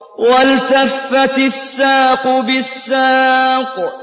وَالْتَفَّتِ السَّاقُ بِالسَّاقِ